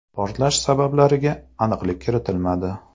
Portlash sabablariga aniqlik kiritilmadi.